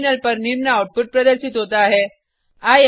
terminal पर निम्न output प्रदर्शित होता है